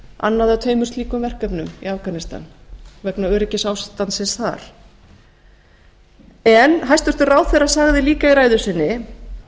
annað af tveimur slíkum verkefnum í afganistan vegna öryggisástandsins þar en hæstvirtur ráðherra sagði líka í ræðu sinni